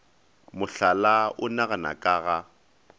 mohlala o nagana ka ga